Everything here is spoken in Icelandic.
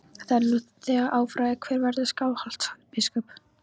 Það er nú þegar afráðið hver verður Skálholtsbiskup.